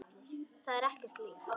Það er ekkert líf.